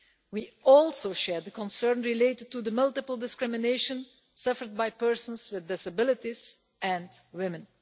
We also share the concern over the multiple discrimination suffered by persons with disabilities and by women.